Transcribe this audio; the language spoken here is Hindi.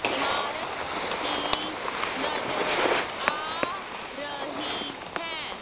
इमारत की नजर आ रही है।